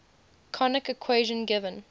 conic equation given